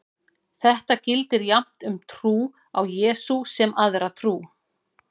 Þetta gildir jafnt um trú á Jesú sem aðra trú.